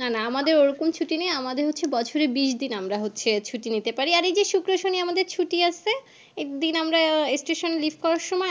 না না আমাদের ওরকম ছুটি নেই আমাদের হচ্ছে বছরে বিশ দিন আমরা হচ্ছে ছুটি নিতে পারি আর এই যে শুক্র শনি আমাদের ছুটি আছে দিন আমরা Station leave